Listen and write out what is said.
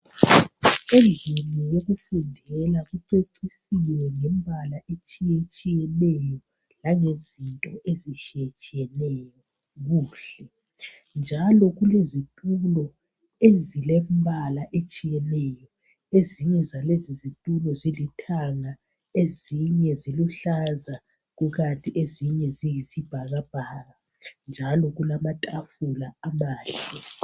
Endlini yokufundela kucecisiwe ngemibala etshiyeneyo langezinto ezitshiyetshiyeneyo , kuhle njalo kulezitulo ezilembal ehlukeneyo. Ezinye zalezi zitulo zilithanga ezinye ziluhlaza, ezinye zilombala oyisibhakabhaka njalo kulamatafula amahle.